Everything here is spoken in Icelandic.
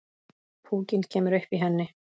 Púkinn kemur upp í henni.